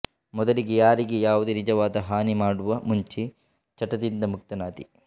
ಮೊದಲಿಗೆ ಯಾರಿಗೆ ಯಾವುದೇ ನಿಜವಾದ ಹಾನಿ ಮಾಡುವ ಮುಂಚೆ ಚಟದಿಂದ ಮುಕ್ತನಾದೆ